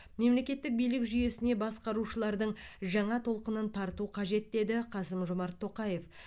мемлекеттік билік жүйесіне басқарушылардың жаңа толқынын тарту қажет деді қасым жомарт тоқаев